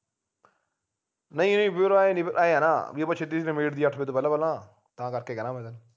ਨਹੀਂ ਨਹੀਂ ਵੀਰ ਆਂਏ ਨਹੀਂ ਆਂਏ ਹੈ ਨਾ ਬੀ ਆਪਾ ਛੇਤੀ ਛੇਤੀ ਨਬੇੜ ਦੀਏ ਅੱਠ ਵਜੇ ਤੋਂ ਪਹਿਲਾਂ ਤਾਂ ਕਰਕੇ ਕਹਿਣਾ ਮੈਂ ਤੈਨੂੰ